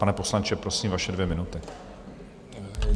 Pane poslanče, prosím, vaše dvě minuty.